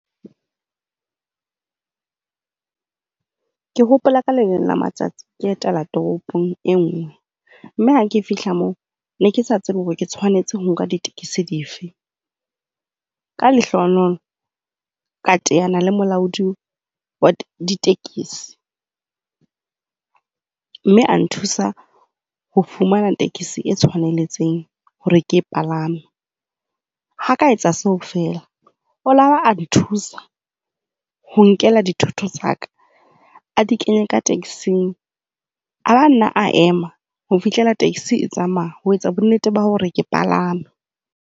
Ke hopola ka leleng la matsatsi ke etela toropong e nngwe mme ha ke fihla moo ke ne ke sa tsebe hore ke tshwanetse ho nka ditekesi di fe. Ka lehlohonolo, ka teana le molaodi wa ditekesi. Mme a nthusa ho fumana tekesi e tshwanetseng hore ke e palame. Ha a ka etsa seo fela, o ile a ba a nthusa ho nkela dithoto tsa ka a di kenye ka taxi-ng a ba nna a ema ho fihlela taxi e tsamaya ho etsa bonnete ba hore ke palame.